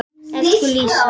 Elsku Lísa.